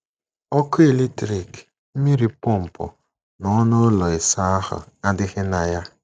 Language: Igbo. Ọkụ eletrik, mmiri pọmpụ, na ọnụ ụlọ ịsa ahụ́ adịghị na ya.